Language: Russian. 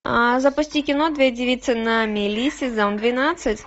а запусти кино две девицы на мели сезон двенадцать